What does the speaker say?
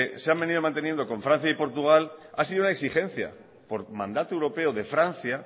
se ha venido manteniendo con francia y portugal ha sido una exigencia por mandato europeo de francia